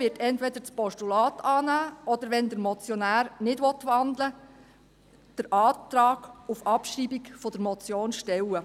Die EVP wird entweder das Postulat annehmen oder, wenn der Motionär nicht wandelt, den Antrag auf Abschreibung der Motion stellen.